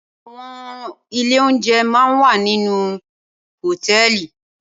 Awòn ilé óoùnjè má n wá ninú áwòn hótèlí